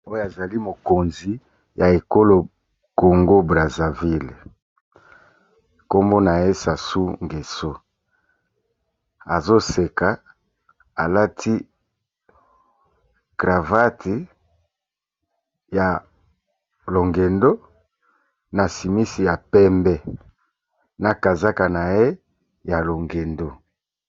Oyo a zali mokonzi ya ekolo Congo Brazzaville , kombo na ye Sassou ngweso, Azo seka a lati cravatte ya longendo, na simisi ya pembe, na kazaka na ye ya longendo .